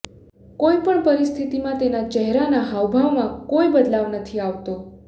કોઈ પણ પરિસ્થિતિમાં તેના ચહેરાના હાવભાવમાં કોઈ બદલાવ નથી આવતો